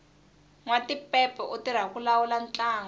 nwatipepe u tirha ku lawula ntlangu